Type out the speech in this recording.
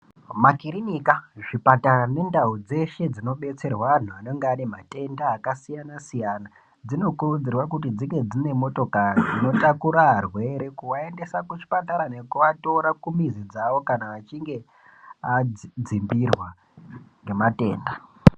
Ma kirinika zvipatara ne ndau dzeshe dzino detserwa antu anenge ane matenda aka siyana siyana dzino kurudzirwa kuti dzinge dzine motokari dzino takura arwere kuva endese ku zvipatara neku vatora ku mizi dzavo kana achinge adzimbirwa nge matenda.